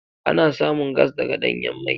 Ana samun gas daga ɗanyan mai.